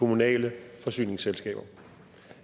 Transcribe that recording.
kommunale forsyningsselskaber